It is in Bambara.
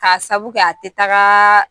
K'a sabu a tɛ taga